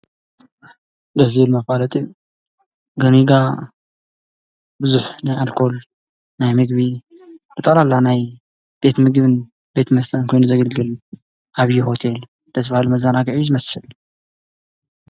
እዙይ መፋለጢ ገኒጋ ብዙሕ ናይ ኣልኮል ናይ ምግቢ ብጠቅለላ ናይ ቤት ምግብን ቤት መስተን ኮይኑ ዘገልግል ዓብይ ሆቴል ደስ ባሃሊ መዛናጊዒ እዩ ዝመስል።